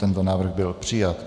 Tento návrh byl přijat.